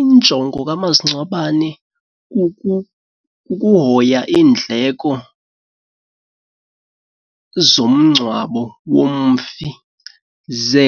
Injongo kamasingcwabane kuhoya iindleko zomngcwabo womfi ze